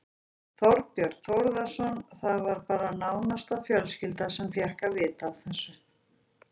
Þorbjörn Þórðarson: Það var bara nánasta fjölskylda sem fékk að vita af þessu?